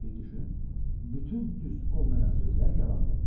Bir düşün, bütün düz olmayan sözləri yalandır.